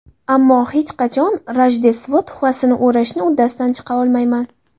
Ammo hech qachon Rojdestvo tuhfasini o‘rashni uddasidan chiqa olmayman.